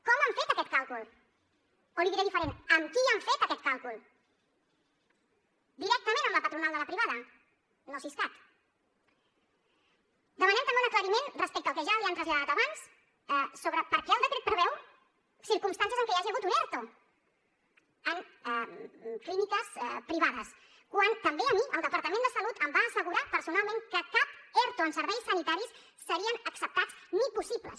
com han fet aquest càlcul o l’hi diré diferentment amb qui han fet aquest càlcul directament amb la patronal de la privada no siscat demanem també un aclariment respecte al que ja li han traslladat abans sobre per què el decret preveu circumstàncies en què hi hagi hagut un erto en clíniques privades quan també a mi el departament de salut em va assegurar personalment que cap erto en serveis sanitaris seria acceptat ni possible